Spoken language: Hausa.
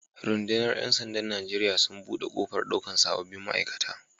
Rudunar Yan sanda'n Nijeriya sun bude kofar daukan sabobin ma'aikata.